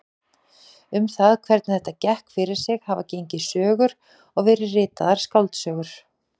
Um það hvernig þetta gekk fyrir sig hafa gengið sögur og verið ritaðar skáldsögur.